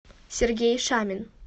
сергей шамин